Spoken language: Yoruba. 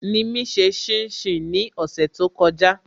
Nimi ṣe shin shin ní ọ̀sẹ̀ to kọjá